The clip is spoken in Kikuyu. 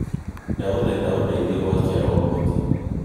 ndagũthaitha ũndeithie gũakia roboti